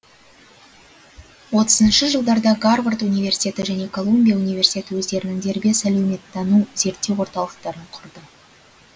отызыншы жылдарда гарвард университеті және колумбия университеті өздерінің дербес әлеуметтану зерттеу орталықтарын құрды